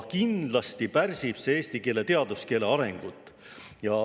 Kindlasti pärsib see eesti teaduskeele arengut.